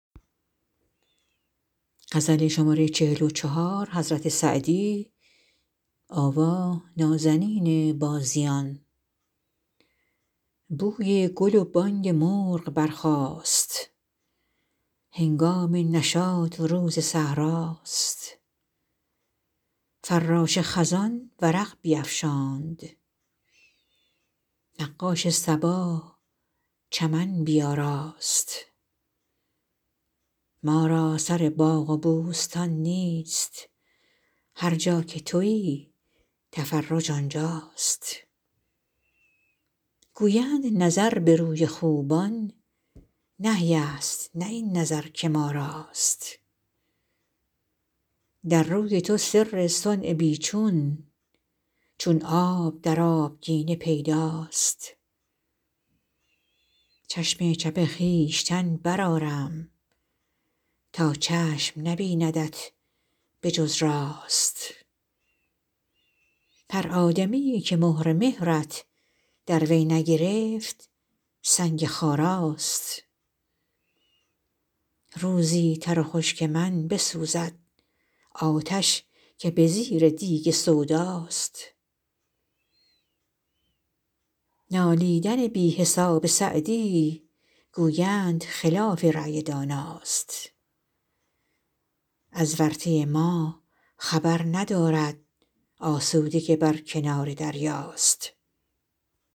بوی گل و بانگ مرغ برخاست هنگام نشاط و روز صحرا ست فراش خزان ورق بیفشاند نقاش صبا چمن بیاراست ما را سر باغ و بوستان نیست هر جا که تویی تفرج آنجا ست گویند نظر به روی خوبان نهی ست نه این نظر که ما راست در روی تو سر صنع بی چون چون آب در آبگینه پیدا ست چشم چپ خویشتن برآرم تا چشم نبیندت به جز راست هر آدمیی که مهر مهرت در وی نگرفت سنگ خارا ست روزی تر و خشک من بسوزد آتش که به زیر دیگ سودا ست نالیدن بی حساب سعدی گویند خلاف رای دانا ست از ورطه ما خبر ندارد آسوده که بر کنار دریا ست